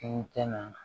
I tɛna